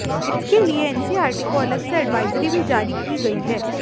इसके लिए एनसीईआरटी को अलग से एडवाइजरी भी जारी की गई है